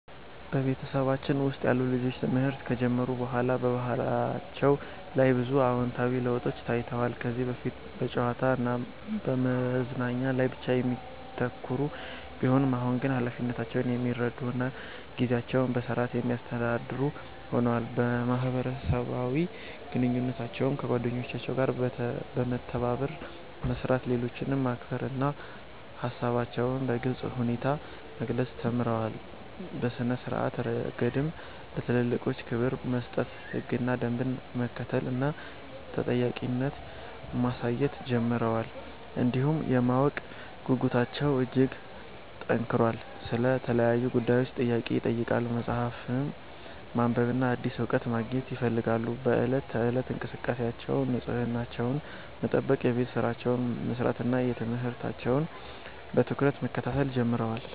በቤተሰባችን ውስጥ ያሉ ልጆች ትምህርት ከጀመሩ በኋላ በባህሪያቸው ላይ ብዙ አዎንታዊ ለውጦች ታይተዋል። ከዚህ በፊት በጨዋታ እና በመዝናኛ ላይ ብቻ የሚያተኩሩ ቢሆኑም፣ አሁን ግን ኃላፊነታቸውን የሚረዱ እና ጊዜያቸውን በሥርዓት የሚያስተዳድሩ ሆነዋል። በማህበራዊ ግንኙነታቸው ከጓደኞቻቸው ጋር በመተባበር መስራት፣ ሌሎችን ማክበር እና ሃሳባቸውን በግልጽ ሁኔታ መግለጽ ተምረዋል። በሥነ-ስርዓት ረገድም ለትልልቆች ክብር መስጠት፣ ህግና ደንብን መከተል እና ተጠያቂነት ማሳየት ጀምረዋል። እንዲሁም የማወቅ ጉጉታቸው እጅግ ጨምሯል፤ ስለ ተለያዩ ጉዳዮች ጥያቄ ይጠይቃሉ፣ መጽሐፍትን ማንበብና አዲስ እውቀት ማግኘት ይፈልጋሉ። በዕለት ተዕለት እንቅስቃሴያቸውም ንጽህናቸውን መጠበቅ፣ የቤት ሥራቸውን መስራት እና ትምህርታቸውን በትኩረት መከታተል ጀምረዋል።